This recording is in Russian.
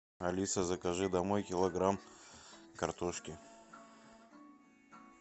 алиса закажи домой килограмм картошки